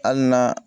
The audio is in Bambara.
Hali n'a